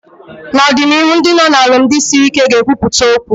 N'ọdịnihu Ndị nọ na alụmdi sịrị ike ga ekwupụta okwu